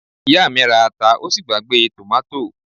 Ìyá mi ra ata ó sì gbàgbé tòmátò